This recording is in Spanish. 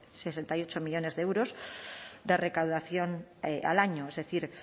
sesenta y ocho millónes de euros de recaudación al año es decir